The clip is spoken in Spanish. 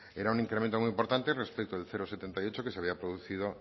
era un incremento muy importante respecto del cero coma setenta y ocho que se había producido